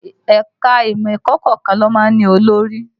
Ẹ̀ka imọ ẹ̀kọ́ kọ̀ọ̀kan ló má ń olórí